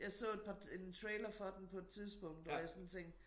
Jeg så et par en trailer for den på et tidspunkt hvor jeg sådan tænkte